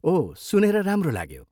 ओह, सुनेर राम्रो लाग्यो।